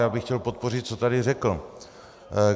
Já bych chtěl podpořit, co tady řekl.